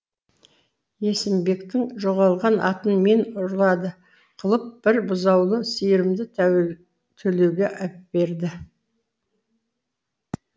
есімбектің жоғалған атын мен ұрлады қылып бір бұзаулы сиырымды төлеуге әперді